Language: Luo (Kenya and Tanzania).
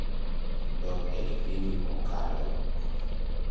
dog e kipindi mokalo